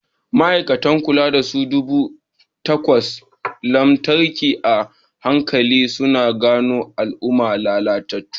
Ma'aikatan kulawa suna duba akwatin lantarki a hankali, suna gano alamun lalacewa.